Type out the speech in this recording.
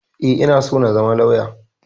E, ina so na zama lauya.